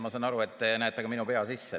Ma sain aru, et te näete ka minu pea sisse.